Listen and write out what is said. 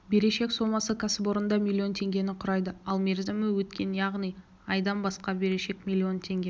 берешек сомасы кәсіпорында миллион теңгені құрайды ал мерзімі өткен яғни айдан асқан берешек миллион теңге